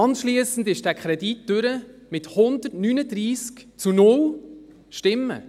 Anschliessend kam dieser Kredit durch mit 139 zu 0 Stimmen.